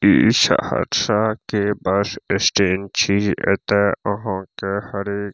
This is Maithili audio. इ सहरसा के बस स्टैंड छी एता आहां के हर एक --